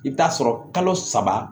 I bɛ taa sɔrɔ kalo saba